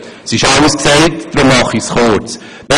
Es wurde alles gesagt, weshalb ich mich kurz fasse.